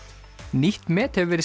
nýtt met hefur verið